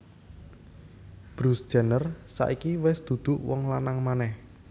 Bruce Jenner saiki wes duduk wong lanang maneh